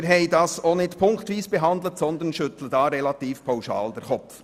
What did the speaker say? Wir haben diese auch nicht punktweise behandelt, sondern schütteln hier relativ pauschal den Kopf.